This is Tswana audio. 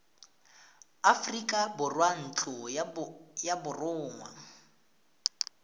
aforika borwa ntlo ya borongwa